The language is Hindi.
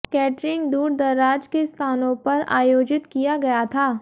कैटरिंग दूरदराज के स्थानों पर आयोजित किया गया था